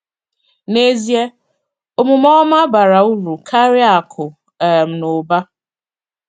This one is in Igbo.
N’ezie, omume ọma bara uru karịa akụ̀ um na ụba.